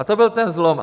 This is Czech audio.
A to byl ten zlom.